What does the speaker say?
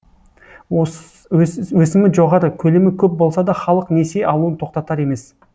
өсімі жоғары көлемі көп болса да халық несие алуын тоқтатар емес